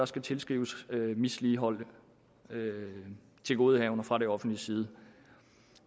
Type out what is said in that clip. skal tilskrives misligholdte tilgodehavender fra det offentliges side